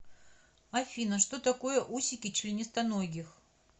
афина что такое усики членистоногих